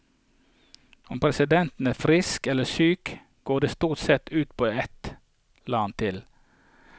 Om presidenten er frisk eller syk, går det stort sett ut på ett, la han til.